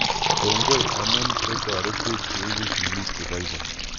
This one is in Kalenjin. Kongoi amu ko�oretech keiku sikik che poipoi